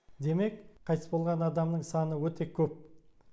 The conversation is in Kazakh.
демек қайтыс болған адамның саны өте көп